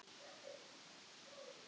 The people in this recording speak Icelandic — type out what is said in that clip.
En hvernig leggst framhaldið í Silvíu?